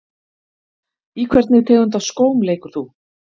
Í hvernig tegund af skóm leikur þú?